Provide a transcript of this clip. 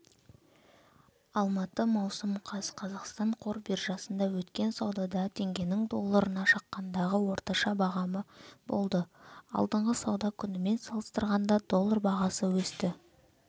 алматы маусым қаз қазақстан қор биржасында өткен саудада теңгенің долларына шаққандағы орташа бағамы болды алдыңғы сауда күнімен салыстырғанда доллар бағасы өсті